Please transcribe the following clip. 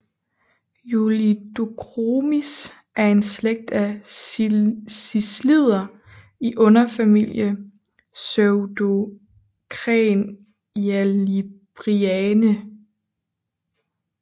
Julidochromis er en slægt af ciclider i underfamilie Pseudocrenilabrinae